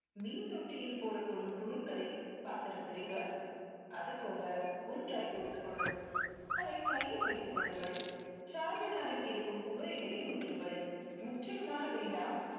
மீன் தொட்டியில் போடப்படும் புழுக்களை பார்த்திருக்கிறீர்களா? அதுபோல ஒன்றாய் கோர்த்துக் கொள்ளும். அதை கையில் வைத்துக் கொள்ளுங்கள் charminar ல் இருக்கும் புகையிலையை உதிருங்கள். முற்றிலுமாக வேண்டாம்.